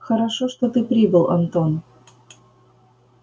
хорошо что ты прибыл антон